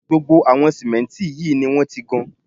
Gbogbo àwọn símẹ́ǹtì yìí ni wọ́n ti gan